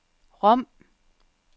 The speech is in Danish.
Rom